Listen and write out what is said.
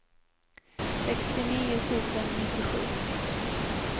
sextionio tusen nittiosju